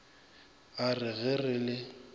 a re ge re le